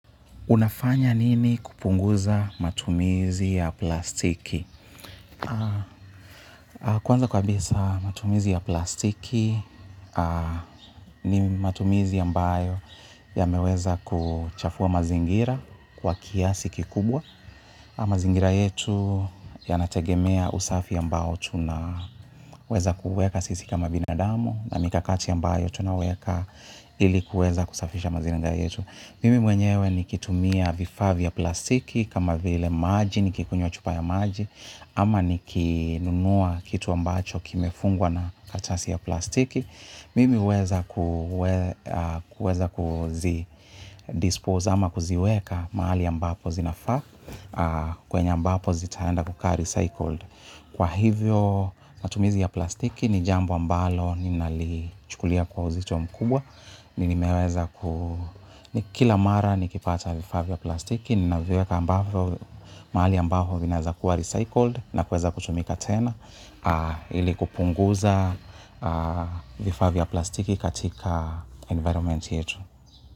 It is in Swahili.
Unafanya nini kupunguza matumizi ya plastiki? Kwanza kabisa matumizi ya plastiki ni matumizi ambayo yameweza kuchafua mazingira kwa kiasi kikubwa. Mazingira yetu yanategemea usafi ambao tunaweza kuuweka sisi kama binadamu na mikakati ambayo tunaweka ili kuweza kusafisha mazingira yetu. Mimi mwenyewe nikitumia vifaa vya plastiki kama vile maji nikikunywa chupa ya maji ama nikinunua kitu ambacho kimefungwa na kartasi ya plastiki. Mimi huweza kuweza kuzi dispose ama kuziweka mahali ambapo zinafa kwenye ambapo zitaenda kukaa recycled. Kwa hivyo matumizi ya plastiki ni jambo ambalo ninalichukulia kwa uzito mkubwa. Ni nimeweza ku, ni kila mara nikipata vifaa vya plastiki ninaviweka ambapo, mahali ambapo vinaweza kuwa recycled na kuweza kutumika tena ili kupunguza vifaa vya plastiki katika environment yetu.